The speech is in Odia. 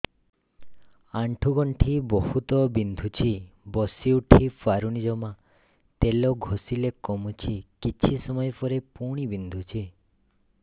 ଆଣ୍ଠୁଗଣ୍ଠି ବହୁତ ବିନ୍ଧୁଛି ବସିଉଠି ପାରୁନି ଜମା ତେଲ ଘଷିଲେ କମୁଛି କିଛି ସମୟ ପରେ ପୁଣି ବିନ୍ଧୁଛି